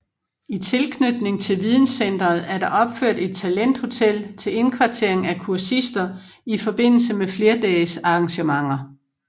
I tilknytning til videncenteret er der opført et talenthotel til indkvartering af kursister i forbindelse med flerdagesarrangementer